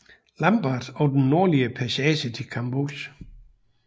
Lambert og den nordlige passage til Chambois